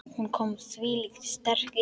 Hún kom þvílíkt sterk inn.